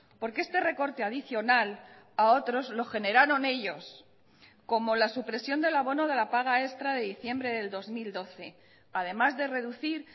porque este recorte adicional a otros lo generaron ellos como la supresión del abono de la paga extra de diciembre del dos mil doce además de reducir